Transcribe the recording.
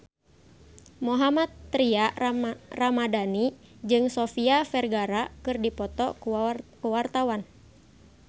Mohammad Tria Ramadhani jeung Sofia Vergara keur dipoto ku wartawan